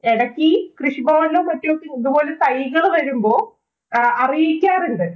എടക്ക് കൃഷിഭവനിലോ, മറ്റോ ഇതുപോലെ തൈകള് വരുമ്പോ അറിയിക്കാറുണ്ട്.